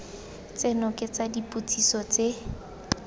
tseno ke tsa dipotsiso tse